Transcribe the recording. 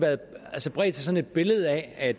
bredt sig sådan et billede af at